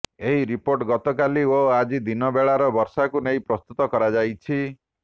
ଏହି ରିପୋର୍ଟ ଗତକାଲି ଓ ଆଜି ଦିନବେଳାର ବର୍ଷାକୁ ନେଇ ପ୍ରସ୍ତୁତ କରାଯାଇଛି